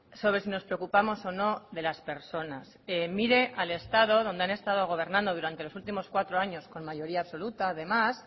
sobre si nos preocupamos o no de las personas mire al estado donde han estado gobernando durante los últimos cuatro años con mayoría absoluta además